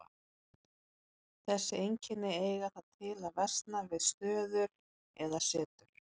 Þessi einkenni eiga það til að versna við stöður eða setur.